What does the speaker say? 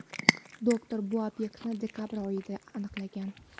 Doktor bu obyektni dekabr oyida aniqlagan.